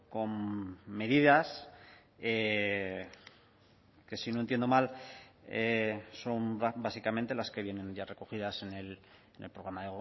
con medidas que si no entiendo mal son básicamente las que vienen ya recogidas en el programa